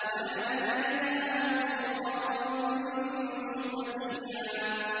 وَلَهَدَيْنَاهُمْ صِرَاطًا مُّسْتَقِيمًا